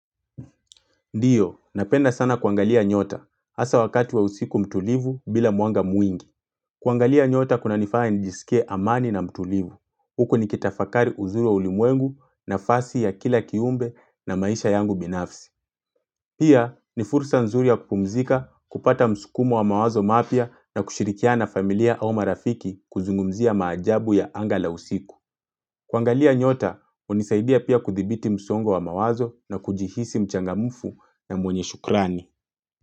Ndiyo, napenda sana kuangalia nyota, hasa wakati wa usiku mtulivu bila mwanga mwingi. Kuangalia nyota kuna nifaa nijisike amani na mtulivu. Huku ni kitafakari uzuri wa ulimwengu nafasi ya kila kiumbe na maisha yangu binafsi. Pia, ni fursa nzuri ya kupumzika, kupata msukumo wa mawazo mapya na kushirikiana na familia au marafiki kuzungumzia maajabu ya angala usiku. Kuangalia nyota, hunisaidia pia kuthibiti msongo wa mawazo na kujihisi mchangamfu na mwenye shukrani.